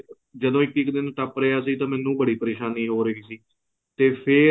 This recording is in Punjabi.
ਜਦੋਂ ਇੱਕ ਇੱਕ ਦਿਨ ਟੱਪ ਰਿਹਾ ਸੀ ਤੇ ਮੈਨੂੰ ਬੜੀ ਪਰੇਸ਼ਾਨੀ ਹੋ ਰਹੀ ਸੀ ਤੇ ਫ਼ੇਰ